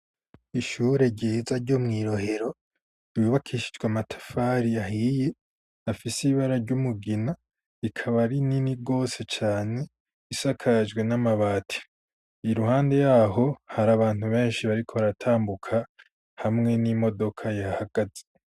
Ishure ryiza ryo mwi Rohero ibubakishijwa matafari ahiye afise ibara ry'umugina ikaba ari nini rwose cane isakajwe n'amabati iruhande yaho hari abantu benshi bariko baratambuka hamwe n'imodoka yahagaze.